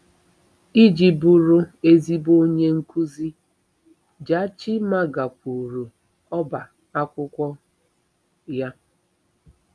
Iji bụrụ ezigbo onye nkuzi, Jachimma gakwuru ọbá akwụkwọ ya.